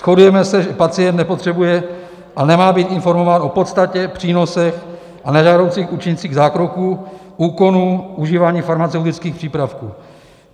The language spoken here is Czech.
Shodujeme se, že pacient nepotřebuje a nemá být informován o podstatě, přínosech a nežádoucích účincích zákroků, úkonů, užívání farmaceutických přípravků.